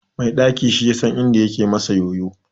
Mai ɗaki shi yasan inda yake masa yoyo.